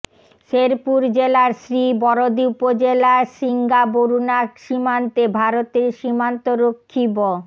শেরপুর জেলার শ্রীবরদী উপজেলার সিংগাবরুণা সীমান্তে ভারতীয় সীমান্তরক্ষী ব